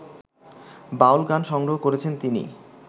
বাউল গান সংগ্রহ করেছেন তিনি